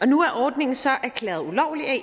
nu er ordningen så erklæret ulovlig af